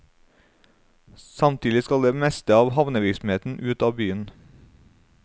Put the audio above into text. Samtidig skal det meste av havnevirksomheten ut av byen.